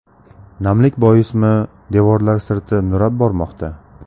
Namlik boismi, devorlar sirti nurab bormoqda.